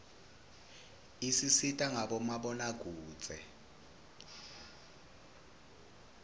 isisita ngabo mabonakudze